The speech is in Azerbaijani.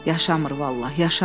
Yaşamır vallah, yaşamır.